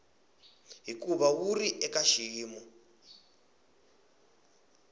hikuva wu ri eka xiyimo